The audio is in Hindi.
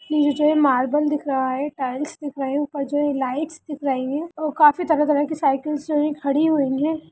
नीचे मार्बल दिख रहा है टाइल्स दिख रहे हैं ऊपर जो है लाइट्स दिख रही है और काफी तरह-तरह की साइकल्स जो हैं खड़ी हुई हैं।